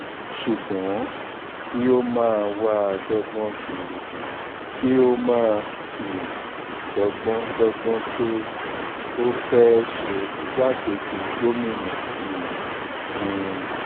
ṣùgbọ́n kí ó máa wáá dọ́gbọ́n kiri kí ó máa um dọ́gbọ́n dọ́gbọ́n pé ó fẹ́ẹ́ ṣe igbákejì gómìnà um hunn